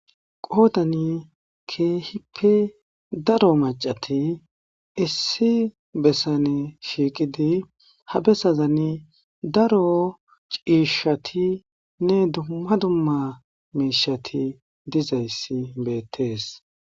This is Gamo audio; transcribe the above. Qodani keehipe daro macati issi besaani shiqqidi ha bessasani daro cishatine dumma dumma mishati diza issi betishe dees.